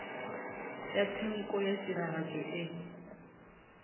ya tshenko ya tiragatšo e